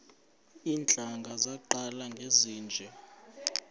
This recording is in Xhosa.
iintlanga zaqala ngezinje